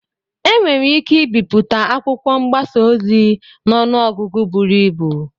Enwere ike ibipụta akwụkwọ mgbasa ozi n'ọnụ ọgụgụ buru ibu.